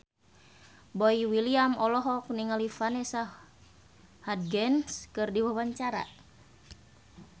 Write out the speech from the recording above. Boy William olohok ningali Vanessa Hudgens keur diwawancara